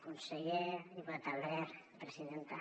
conseller diputat albert presidenta